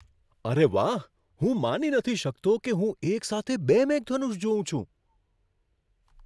અરે વાહ, હું માની નથી શકતો કે હું એક સાથે બે મેઘધનુષ જોઉં છું.